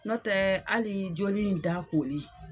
Nɔtɛɛ hali joli in da koli